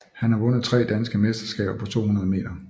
Han har vundet tre danske mesterskaber på 200 meter